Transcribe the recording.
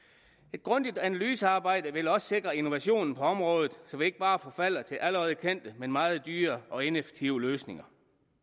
et grundigt analysearbejde vil også sikre innovationen på området så vi ikke bare forfalder til allerede kendte men meget dyre og ineffektive løsninger